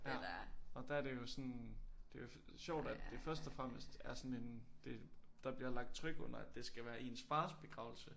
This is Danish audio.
Ja og der det jo sådan det sjovt at det først og fremmest er sådan en det der bliver lagt tryk under at det skal være ens fars begravelse